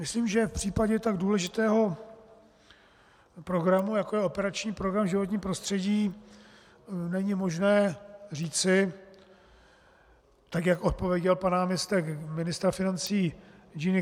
Myslím, že v případě tak důležitého programu, jako je operační program Životní prostředí, není možné říci, tak jak odpověděl pan náměstek ministra financí Ing.